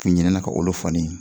Kun ɲinɛna ka olu fɔ ne ɲɛnɛ